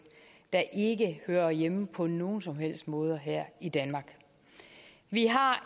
der ikke hører hjemme på nogen som helst måder her i danmark vi har